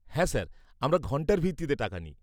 -হ্যাঁ স্যার আমরা ঘণ্টার ভিত্তিতে টাকা নিই।